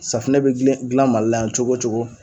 Safunɛ bɛ dilen dilan Mali la yan cogo cogo